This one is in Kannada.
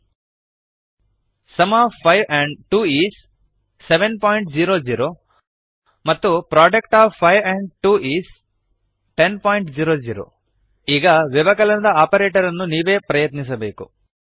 ಸುಮ್ of 5 and 2 is 700 sum of five and two is seven point zero zero ಮತ್ತು product of 5 and 2 is 1000 product of five and two is ten point zero zero ಈಗ ವ್ಯವಕಲನದ ಆಪರೇಟರ್ ಅನ್ನು ನೀವೇ ಪ್ರಯತ್ನಿಸಬೇಕು